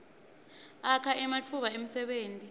akha ematfuba emsebenti